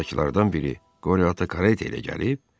Pansiondakılardan biri: Qorya Ata kareta ilə gəlib?